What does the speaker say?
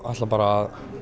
ætla bara að